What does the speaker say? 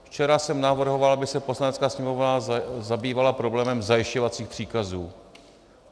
Včera jsem navrhoval, aby se Poslanecká sněmovna zabývala problémem zajišťovacích příkazů.